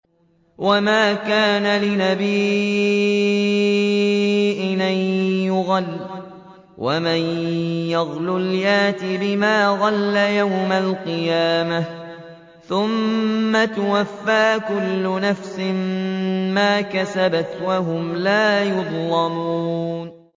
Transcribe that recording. وَمَا كَانَ لِنَبِيٍّ أَن يَغُلَّ ۚ وَمَن يَغْلُلْ يَأْتِ بِمَا غَلَّ يَوْمَ الْقِيَامَةِ ۚ ثُمَّ تُوَفَّىٰ كُلُّ نَفْسٍ مَّا كَسَبَتْ وَهُمْ لَا يُظْلَمُونَ